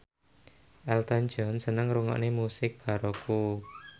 Elton John seneng ngrungokne musik baroque